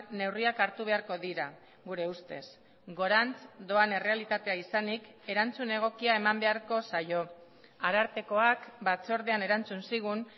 neurriak hartu beharko dira gure ustez gorantz doan errealitatea izanik erantzun egokia eman beharko zaio arartekoak batzordean erantzun zigun